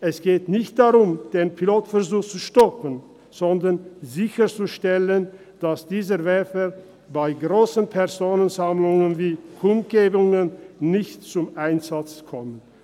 Es geht nicht darum, den Pilotversuch zu stoppen, sondern darum, sicherzustellen, dass dieser Werfer bei grossen Personenversammlungen wie Kundgebungen nicht zum Einsatz kommt.